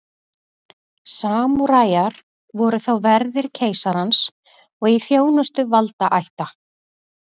Samúræjar voru þá verðir keisarans og í þjónustu valdaætta.